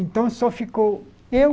Então, só ficou eu,